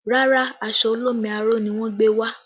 Rárá, aṣọ olómi aró ni wọn gbé wá